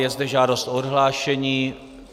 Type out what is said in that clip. Je zde žádost o odhlášení.